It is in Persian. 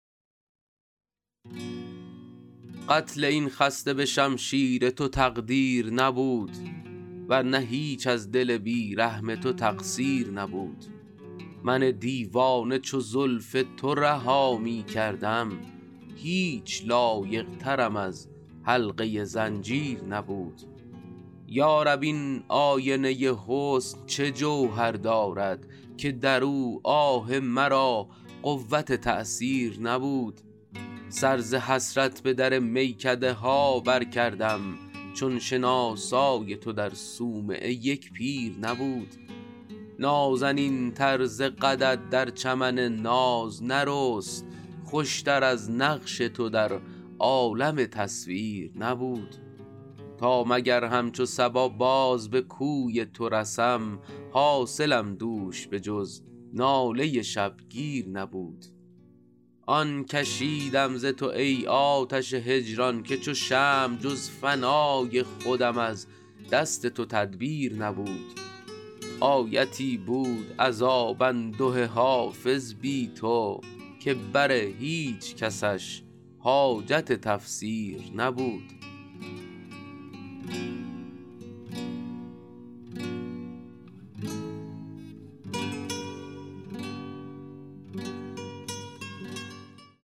قتل این خسته به شمشیر تو تقدیر نبود ور نه هیچ از دل بی رحم تو تقصیر نبود من دیوانه چو زلف تو رها می کردم هیچ لایق ترم از حلقه زنجیر نبود یا رب این آینه حسن چه جوهر دارد که در او آه مرا قوت تأثیر نبود سر ز حسرت به در میکده ها برکردم چون شناسای تو در صومعه یک پیر نبود نازنین تر ز قدت در چمن ناز نرست خوش تر از نقش تو در عالم تصویر نبود تا مگر همچو صبا باز به کوی تو رسم حاصلم دوش به جز ناله شبگیر نبود آن کشیدم ز تو ای آتش هجران که چو شمع جز فنای خودم از دست تو تدبیر نبود آیتی بود عذاب انده حافظ بی تو که بر هیچ کسش حاجت تفسیر نبود